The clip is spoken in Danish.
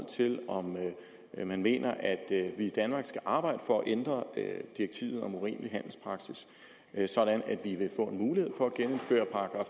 til om man mener at vi i danmark skal arbejde for at ændre direktivet om urimelig handelspraksis sådan at vi vil få mulighed for at genindføre